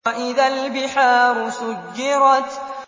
وَإِذَا الْبِحَارُ سُجِّرَتْ